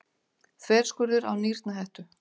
Þverskurður af nýrnahettu.